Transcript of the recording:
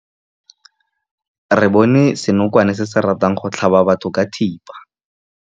Re bone senokwane se se ratang go tlhaba batho ka thipa.